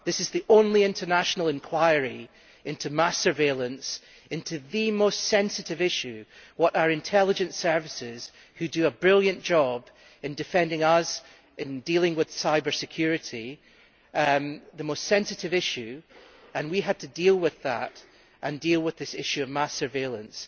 This is the only international inquiry into mass surveillance into the most sensitive issue, our intelligence services, which do a brilliant job, in defending us and in dealing with cybersecurity, the most sensitive issue and we had to deal with that and deal with this issue of mass surveillance.